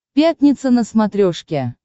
пятница на смотрешке